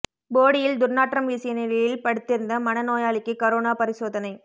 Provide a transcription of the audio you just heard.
போடியில் துா்நாற்றம் வீசிய நிலையில் படுத்திருந்த மன நோயாளிக்கு கரோனா பரிசோதனை